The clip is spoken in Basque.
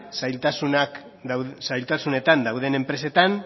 zailtasunetan dauden enpresetan